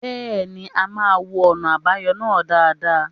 Bẹ́ẹ̀ ni, a máa wo ọ̀nà àbáyọ náà dáadáa.